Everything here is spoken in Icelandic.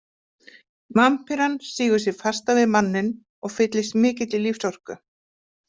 Vampíran sýgur sig fasta við manninn og fyllist mikilli lífsorku.